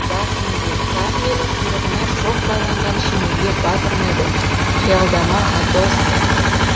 бас имеген сақ елі құйрығына шоқ байланған шеңелге бас ұрмайды қиялдама атосса